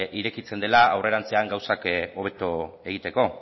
irekitzen dela aurrerantzean gauzak hobeto egiteko